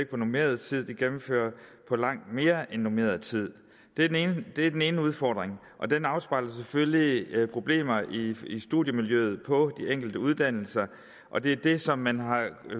på normeret tid de gennemfører på langt mere end normeret tid det er den ene udfordring og den afspejler selvfølgelig problemer i i studiemiljøet på de enkelte uddannelser og det er det som man har